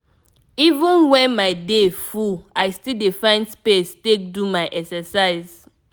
even when my day full i still dey find space take do my exercise.